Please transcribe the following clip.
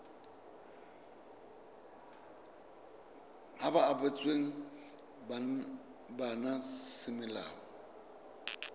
ba ba abetsweng bana semolao